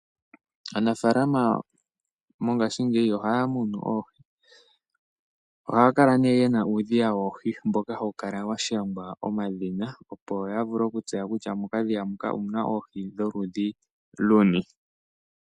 Aanafalama mongashingeyi ohaya munu oohi. Ohaya kala ne yena uudhiya woohi mboka hawu kala washangwa omadhina, opo ya vule okutseya kutya mokadhiya moka omuna oohi lwo ludhi luni.